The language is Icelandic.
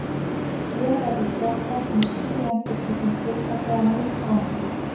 Hér verður fjallað um síendurtekin tilfelli af munnangri.